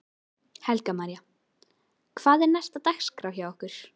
Helga María: Og hvað er næst á dagskrá hjá ykkur?